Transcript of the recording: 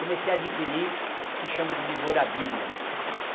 Comecei a adquirir o que se chama de memorabilia.